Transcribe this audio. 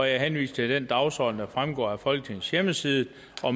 jeg henviser til den dagsorden der fremgår af folketingets hjemmeside